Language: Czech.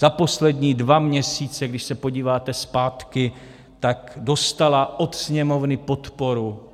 Za poslední dva měsíce, když se podíváte zpátky, tak dostala od Sněmovny podporu.